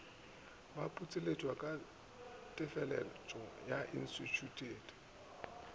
baputseletšwa ka teefatšo instithušene le